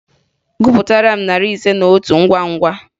Gụpụtara m narị ise na otu ngwa ngwa!